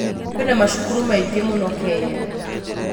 kwĩna macukuru maingĩ mũno Kenya.